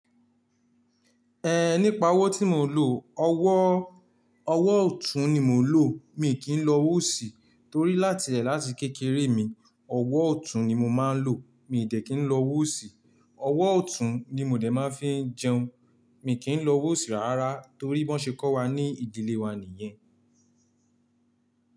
Ẹ nípa ọ̀wọ̀ tí mo lò, ọ̀wọ́, ọ̀wọ́ ọ̀tún ni mò ń lò. Mi kì í lọ owò ṣì torí láti lẹ̀ láti kékeré mi, ọ̀wọ́ ọ̀tún ni mo máa ń lò. Mi dẹ́ kí ń lo ọwòṣì. Ọ̀wọ́ ọ̀tún ni mo dẹ máa fi ń jẹun. Mi kì í lọ wòṣì rárá torí wọ́n ṣe kọ́ wa ní ìdílé wa nìyẹn.